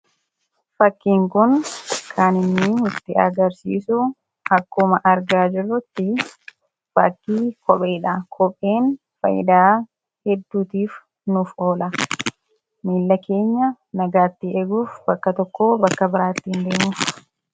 Fakkiin Kun kan nutti agarsiisu akkuma argaa jirrutti fakkii kopheedha. Kopheen fayidaa hedduutiif nuuf oola. Miila keenya nagayatti eeguuf bakka tokkoo bakka biraa ittiin deemuuf.